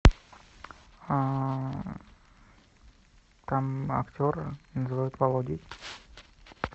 там актера называют володей